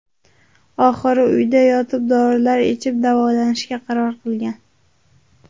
Oxiri uyda yotib, dorilar ichib davolanishga qaror qilgan.